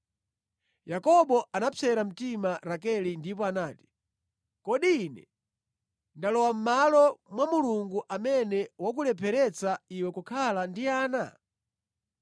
Yakobo anapsera mtima Rakele ndipo nati, “Kodi ine ndalowa mʼmalo mwa Mulungu amene wakulepheretsa iwe kukhala ndi ana?”